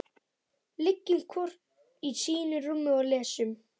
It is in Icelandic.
Liggjum hvor í sínu rúmi og lesum.